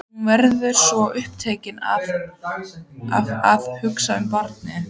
Hún verður svo upptekin af að hugsa um barnið.